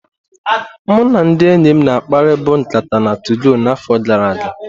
Mụ na ndị enyim na akpari bụ nkata na 2gọ na afo gara aga.